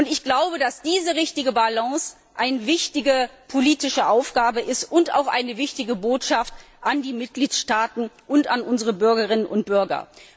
Ich glaube, dass diese richtige Balance eine wichtige politische Aufgabe ist und auch eine wichtige Botschaft an die Mitgliedstaaten und an unsere Bürgerinnen und Bürger.